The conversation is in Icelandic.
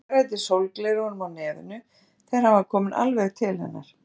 Hún hagræddi sólgleraugunum á nefinu þegar hann var kominn alveg til hennar.